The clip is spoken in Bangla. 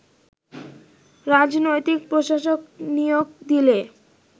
রাজনৈতিক প্রশাসক নিয়োগ দিলে